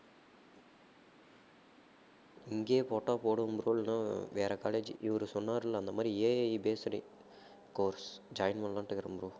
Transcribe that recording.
இங்கேயே போட்டா போடுவேன் bro இல்லனா வேற college இவரு சொன்னாருல்ல அந்த மாதிரி AI based course join பண்ணலாம்னுட்டு இருக்கிறேன் bro